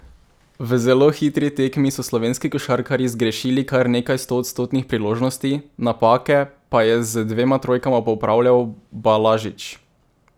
V zelo hitri tekmi so slovenski košarkarji zgrešili kar nekaj stoodstotnih priložnosti, napake pa je z dvema trojkama popravljal Balažič.